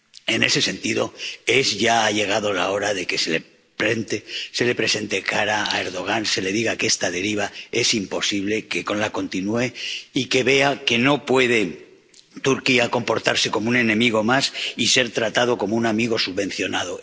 En ese sentido, ya ha llegado la hora de que se le presente cara a Erdogan, se le diga que esta deriva es imposible, que no la continúe y que vea que Turquía no puede comportarse como un enemigo más y ser tratado como un amigo subvencionado.